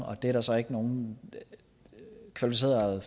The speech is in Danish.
der er så ikke nogen kvalificerede